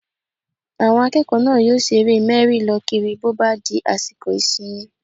Àwọn akẹ́kọ̀ọ́ náà yóò ṣe eré mẹ́rí-lọ-kiri bó bá di àsìkò ìsinmi